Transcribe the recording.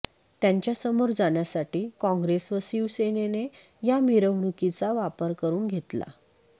त्यांच्यासमोर जाण्यासाठी काँग्रेस व शिवसेनेने या मिरवणुकीचा वापर करून घेतला